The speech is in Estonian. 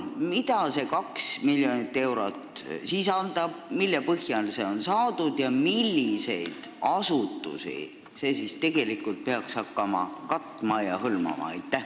Mida see 2 miljonit eurot sisaldab, mille põhjal see on saadud ja milliseid asutusi see peaks hakkama hõlmama?